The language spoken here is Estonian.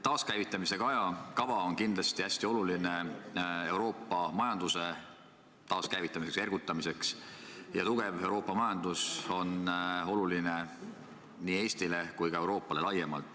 Taaskäivitamise kava on kindlasti hästi oluline Euroopa majanduse taaskäivitamiseks ja ergutamiseks ning tugev Euroopa majandus on oluline nii Eestile kui ka Euroopale laiemalt.